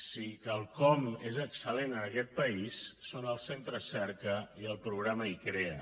si quelcom és excel·lent en aquest país són els centres cerca i el programa icrea